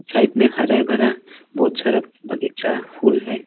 Side में हरे भरा बहुत सारा बगीचा फूल है।